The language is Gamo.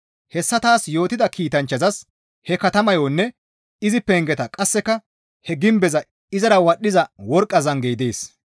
Hessa taas yootida kiitanchchazas he katamayonne izi pengeta qasseka he gimbeza izara wadhdhiza worqqa zangey dees.